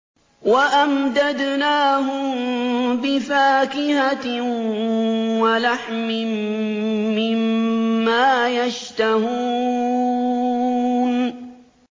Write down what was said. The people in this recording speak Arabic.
وَأَمْدَدْنَاهُم بِفَاكِهَةٍ وَلَحْمٍ مِّمَّا يَشْتَهُونَ